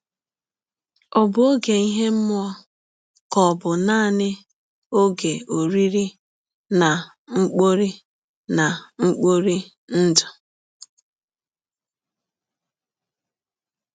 Ọ̀ bụ ọge ihe mmụọ, ka ọ̀ bụ nanị ọge oriri na mkpori na mkpori ndụ?